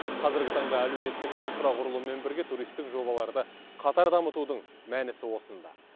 қазіргі таңда әлеуметтік инфрақұрылыммен бірге туристік жобаларды қатар дамытудың мәнісі осында